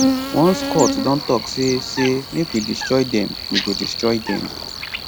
once court don tok say say make we destroy dem we go destroy dem